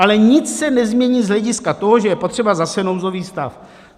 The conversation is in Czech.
Ale nic se nezmění z hlediska toho, že je potřeba zase nouzový stav.